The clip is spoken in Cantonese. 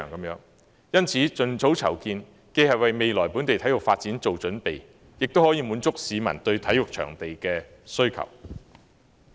因此，盡早籌建，既為未來本地體育發展作準備，亦可滿足市民對體育場地的需求。